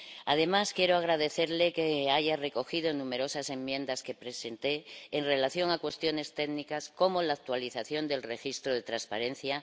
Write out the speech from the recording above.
Además, quiero agradecerle que haya recogido numerosas enmiendas que presenté en relación a cuestiones técnicas como la actualización del registro de transparencia.